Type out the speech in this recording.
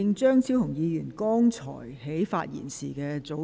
張議員，你的發言時限到了。